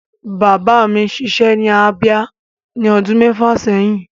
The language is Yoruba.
Bàbá mi ṣiṣẹ́ ní Abia ní ọdún mẹ́fà sẹ́yìn.